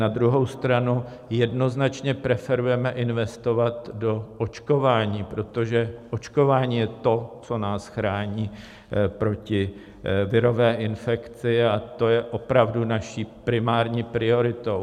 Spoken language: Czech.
Na druhou stranu jednoznačně preferujeme investovat do očkování, protože očkování je to, co nás chrání proti virové infekci, a to je opravdu naší primární prioritou.